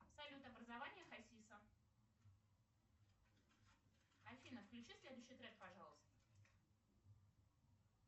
салют образование хасиса афина включи следующий трек пожалуйста